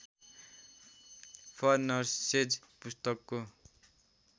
for nurses पुस्तकको